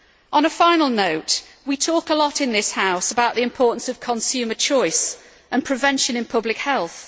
On a final note, we talk a lot in this House about the importance of consumer choice and prevention in public health.